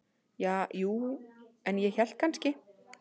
Ja, jú, en ég hélt kannski.